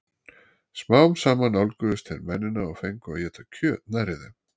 smám saman nálguðust þeir mennina og fengu að éta kjöt nærri þeim